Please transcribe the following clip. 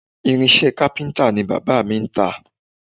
Irinṣẹ́ kápíntà ni bàbá mi ń tà